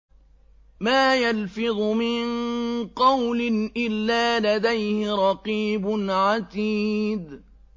مَّا يَلْفِظُ مِن قَوْلٍ إِلَّا لَدَيْهِ رَقِيبٌ عَتِيدٌ